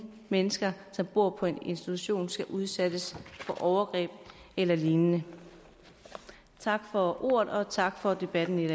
mennesker som bor på en institution skal udsættes for overgreb eller lignende tak for ordet og tak for debatten i